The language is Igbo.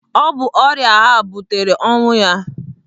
Ọ bụ ọrịa ahụ butere ọnwụ ya.